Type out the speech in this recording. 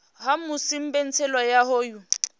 ha musi mbetshelo ya hoyu